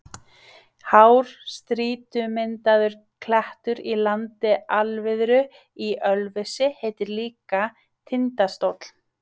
Hár strýtumyndaður klettur í landi Alviðru í Ölfusi heitir líka Tindastóll.